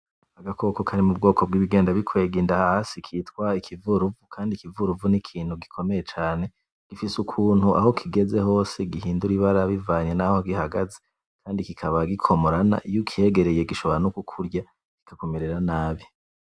Agakoko kari mubwoko bwibigenda bikwega inda hasi kitwa ikivuru, kandi ikivuruvu ni ikintu gikomeye cane. Gifise ukuntu aho kigeze hose gihindura ibara bivanye naho gihagaze, kandi kikaba gikomorana. Iyo ukegereye gishobora no kukurya kikakumerera nabi.